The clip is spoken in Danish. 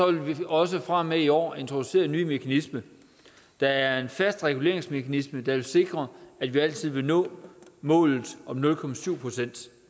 vil vi også fra og med i år introducere en ny mekanisme det er en fast reguleringsmekanisme der vil sikre at vi altid vil nå målet om nul procent